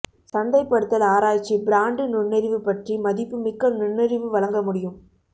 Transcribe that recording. சந்தைப்படுத்தல் ஆராய்ச்சி பிராண்டு நுண்ணறிவு பற்றி மதிப்புமிக்க நுண்ணறிவு வழங்க முடியும்